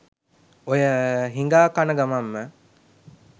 ඔය හිගා කන ගමන්ම